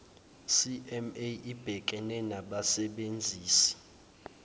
cma ibhekene nabasebenzisi